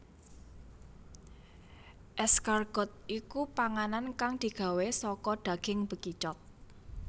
Escargot iku panganan kang digawé saka daging bekicot